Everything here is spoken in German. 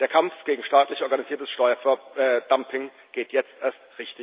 Der Kampf gegen staatlich organisiertes Steuerdumping geht jetzt erst